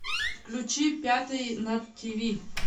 включи пятый на тв